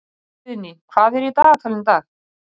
Grétar, hvað er á dagatalinu í dag?